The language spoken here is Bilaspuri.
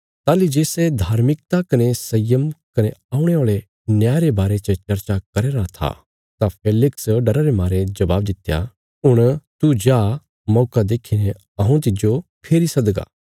ताहली जे सै धर्मिकता कने संयम कने औणे औल़े न्याय रे बारे च चर्चा करया राँ था तां फेलिक्स डरा रे मारे जवाब दित्या हुण तू जा मौका देखीने हऊँ तिज्जो फेरी सदगा